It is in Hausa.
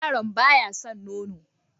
Yaron ba ya san nono?